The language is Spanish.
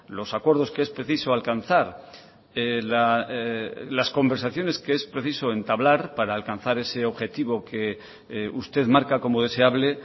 los acuerdos que es preciso alcanzar las conversaciones que es preciso entablar para alcanzar ese objetivo que usted marca como deseable